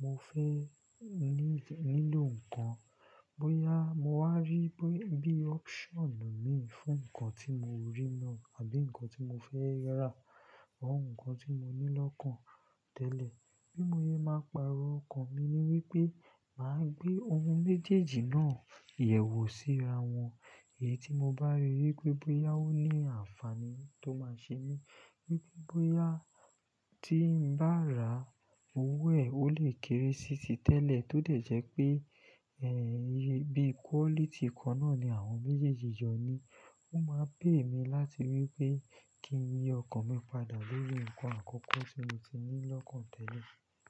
mo fẹ́ ní-nílò nǹkan, bóyá mo wá rí bí bí option mii fún nǹkan tí mo rí lọ àbí nǹkan tí mo fẹ́ rà, àwọn nǹkan tí mo ní lọ́kàn tẹ́lẹ̀. Bí mo ye máa pààrọ̀ ọkọ̀ mi ni wípé màá gbé ohun méjèèjì náà yẹ̀wò síra wọn. Èyí tí mo bá rí wípé bóyá ó ní àǹfààní tó máa ṣe mí, wípé bóyá tí ń bá rà owó ẹ̀, ó lè kéré sí ti tẹ́lẹ̀ tó dẹ̀ jẹ́ pé, ẹ́, bí quality kan náà ni àwọn méjèèjì jọ ní. Ó máa pay mí láti wípé kí n yi ọkọ̀ mi padà lórí nǹkan àkọ́kọ́ tí mo ti ní lọ́kàn tẹ́lẹ̀.